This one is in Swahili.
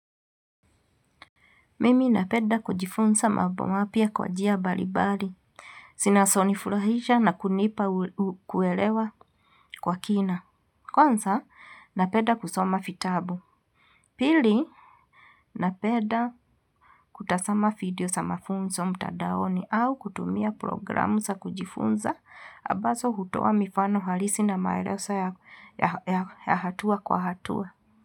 Mimi napeda kujifunza mambo mapya kwa njia balibari. Sinasonifurahisha na kunipa kuelewa kwa kina. Kwanza, napeda kusoma vitabu. Pili, napeda kutasama video sa mafunzo mtadaoni au kutumia programu sa kujifunza. Abazo hutoa mifano halisi na maelesa ya hatua kwa hatua.